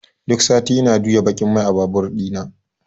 duk sati ina juyan baƙin mai a babur ɗina.